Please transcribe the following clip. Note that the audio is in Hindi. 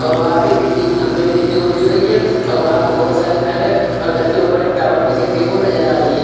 और वहां पे बिजली की खंभे भी देखने को मिल रही है और वहां पे बहोत सारे घर है और घर के ऊपर एक टावर भी देखने को नजर आ रही है।